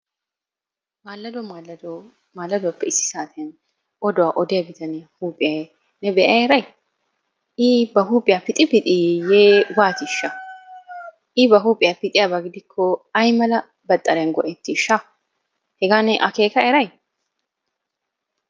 Maallado maallado maalladuwappe issi saatiyan oduwa odiyaa bitaniya huuphiya ne be"a eray? I ba huuphiya pixi pixi yiiyee waatiishsha? I ba huuphiya pixiyaba gidiko ay mala baxariyan go"ettisha? Hegaa ne akeeka eray?